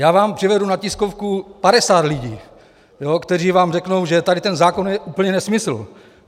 Já vám přivedu na tiskovku 50 lidí, kteří vám řeknou, že tady ten zákon je úplně nesmysl.